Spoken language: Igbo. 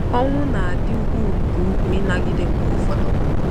Owu na-adị ukwuu nke ukwuu ịnagide mgbe ụfọdụ.